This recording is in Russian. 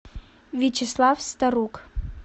вячеслав старук